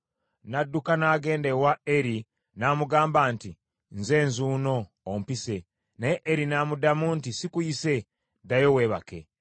N’adduka n’agenda ewa Eri n’amugamba nti, “Nze nzuuno, ompise.” Naye Eri n’amuddamu nti, “Sikuyise, ddayo weebake.”